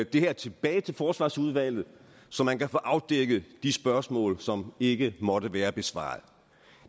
det her tilbage til forsvarsudvalget så man kan få afdækket de spørgsmål som ikke måtte være besvaret